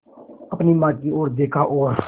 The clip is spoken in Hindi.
अपनी माँ की ओर देखा और